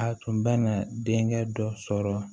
A tun bɛ na denkɛ dɔ sɔrɔ